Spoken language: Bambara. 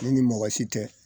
Ne ni mɔgɔ si tɛ